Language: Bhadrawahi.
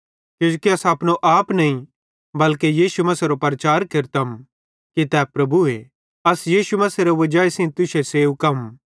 किजोकि अस अपनो नईं बल्के यीशु मसीहेरो प्रचार केरतम कि तै प्रभुए अस यीशु मसीहेरे वजाई सेइं तुश्शे सेवकम